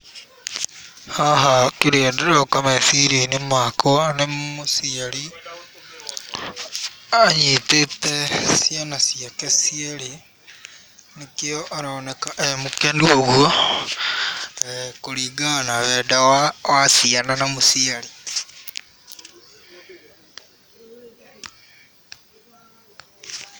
Haha kĩrĩa kĩroka meciria-inĩ makwa nĩ mũciari anyitĩte ciana ciake cierĩ nĩkĩo aroneka e mũkenu ũguo kũringana na wendo wa ciana na mũciari